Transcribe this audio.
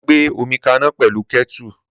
Màa gbe òmíkàná pẹlu kẹtu.